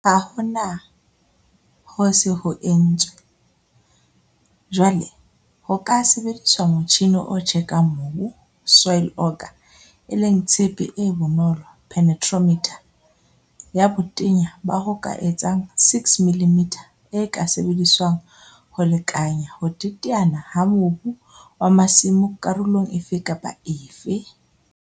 Ha hona ho se ho entswe, jwale ho ka sebediswa motjhine o tjekang mobu, soil auger, e leng tshepe e bonolo, penetrometer, ya botenya ba ho ka etsang 6 mm e ka sebediswang ho lekanya ho teteana ha mobu wa masimo karolong efe kapa efe.